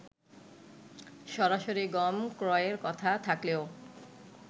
সরাসরি গম ক্রয়ের কথা থাকলেও